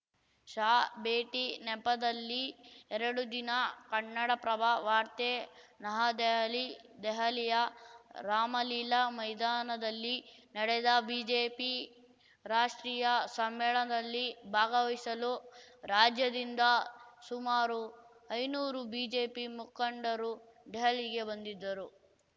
ಶಾ ಭೇಟಿ ನೆಪದಲ್ಲಿ ಎರಡು ದಿನ ಕನ್ನಡಪ್ರಭ ವಾರ್ತೆ ನಹದೆಹಲಿ ದೆಹಲಿಯ ರಾಮಲೀಲಾ ಮೈದಾನದಲ್ಲಿ ನಡೆದ ಬಿಜೆಪಿ ರಾಷ್ಟ್ರೀಯ ಸಮ್ಮೇಳನದಲ್ಲಿ ಭಾಗವಹಿಸಲು ರಾಜ್ಯದಿಂದ ಸುಮಾರು ಐನೂರು ಬಿಜೆಪಿ ಮುಖಂಡರು ದೆಹಲಿಗೆ ಬಂದಿದ್ದರು